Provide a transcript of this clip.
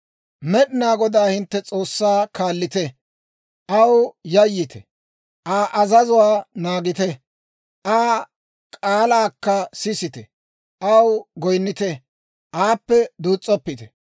Med'inaa Godaa hintte S'oossaa kaallite; aw yayyite; Aa azazuwaa naagite; Aa k'aalaakka sisite; aw goyinnite; aappe duus's'oppite.